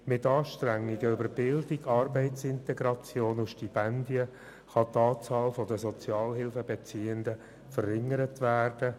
Mit Anstrengungen bei Bildung, Arbeitsintegration und Stipendien kann die Anzahl der Sozialhilfebeziehenden verringert werden.